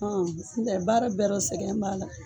Ɔn ntɛ baara bɛɛ rɔ sɛgɛn b'a la.